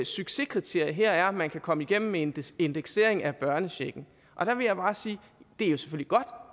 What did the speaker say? succeskriterie her er at man kan komme igennem med en indeksering af børnechecken og der vil jeg bare sige